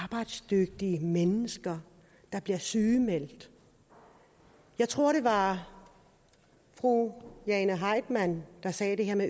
er mennesker der bliver sygemeldte jeg tror det var fru jane heitmann der sagde det her